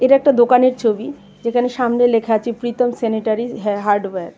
এটা একটা দোকানের ছবি যেখানে সামনে লেখা আছে প্রীতম সেনিটারীস হে-হার্ডওয়ার .